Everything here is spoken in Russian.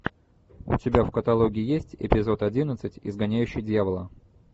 у тебя в каталоге есть эпизод одиннадцать изгоняющий дьявола